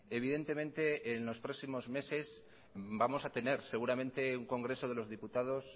evidentemente en los próximos meses vamos a tener seguramente un congreso de los diputados